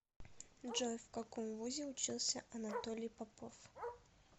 джой в каком вузе учился анатолий попов